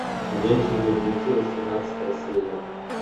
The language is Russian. ходячие мертвецы восемнадцатая серия